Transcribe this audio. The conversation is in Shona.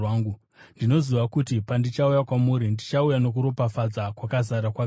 Ndinoziva kuti pandichauya kwamuri, ndichauya nokuropafadza kwakazara kwaKristu.